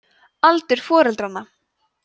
aldur foreldranna